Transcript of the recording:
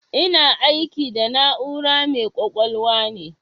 Ina aiki da na'ura mai ƙwaƙwalwa ne.